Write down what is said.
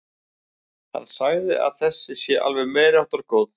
Hann segir að þessi sé alveg meiriháttar góð.